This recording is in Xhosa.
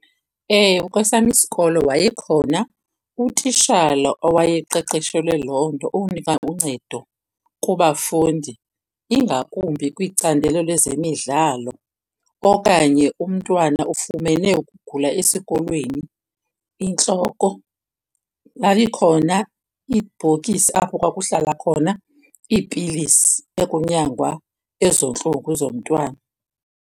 Ewe, kwesam isikolo wayekhona utitshala owayeqeqeshelwe loo nto, ukunika uncedo kubafundi ingakumbi kwicandelo lwezemidlalo okanye umntwana ufumene ukugula esikolweni, intloko. Yayikhona ibhokisi apho kwakuhlala khona iipilisi ekunyangwa ezo ntlungu zomntwana.